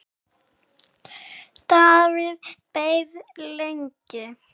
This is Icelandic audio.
Davíð beið lengi.